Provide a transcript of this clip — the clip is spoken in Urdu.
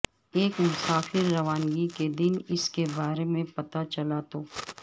ایک مسافر روانگی کے دن اس کے بارے میں پتہ چلا تو